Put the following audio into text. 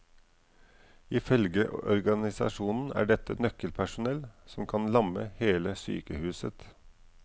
Ifølge organisasjonen er dette nøkkelpersonell som kan lamme hele sykehuset.